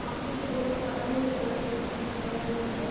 आखिरी छोर का पता ही नहीं चल रहा है इत्ता अंदर गया हुआ है |